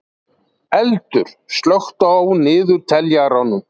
Eldur, slökktu á niðurteljaranum.